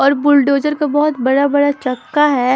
और बुलडोज़र का बहोत बड़ा-बड़ा चक्का है।